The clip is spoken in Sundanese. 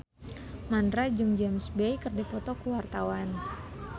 Mandra jeung James Bay keur dipoto ku wartawan